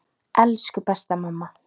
Elsku besta mamma.